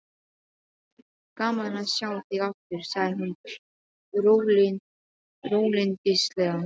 Gaman að sjá þig aftur, sagði hún rólyndislega.